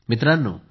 मित्रांनो